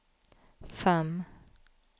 fem